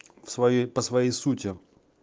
своей по своей сути